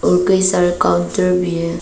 और कई सारे काउंटर भी है।